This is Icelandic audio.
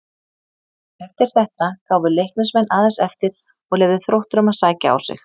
Eftir þetta gáfu Leiknismenn aðeins eftir og leyfðu Þrótturum að sækja á sig.